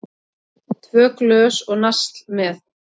Tvö glös og nasl með.